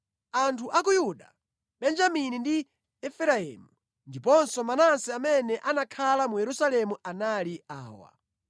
Anthu a ku Yuda, Benjamini ndi Efereimu ndiponso Manase amene anakhala mu Yerusalemu anali awa: